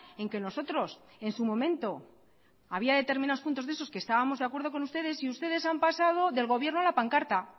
en que nosotros en su momento había determinados puntos de esos que estábamos de acuerdo con ustedes y ustedes han pasado del gobierno a la pancarta